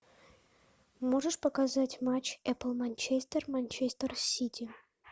можешь показать матч апл манчестер манчестер сити